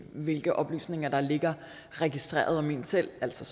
hvilke oplysninger der ligger registreret om en selv altså